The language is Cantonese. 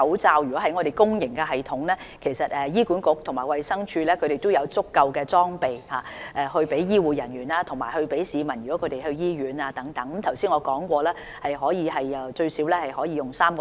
至於公營系統方面，醫管局和衞生署已有足夠裝備，提供予醫護人員和前往醫院的市民使用，正如我剛才所說，儲備足夠使用最少3個月。